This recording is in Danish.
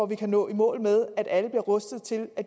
vi kan nå i mål med at alle bliver rustet til at